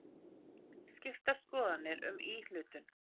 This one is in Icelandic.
Skiptar skoðanir um íhlutun